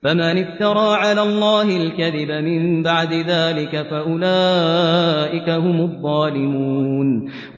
فَمَنِ افْتَرَىٰ عَلَى اللَّهِ الْكَذِبَ مِن بَعْدِ ذَٰلِكَ فَأُولَٰئِكَ هُمُ الظَّالِمُونَ